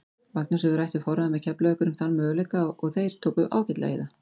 Magnús hefur rætt við forráðamenn Keflavíkur um þennan möguleika og þeir tóku ágætlega í það.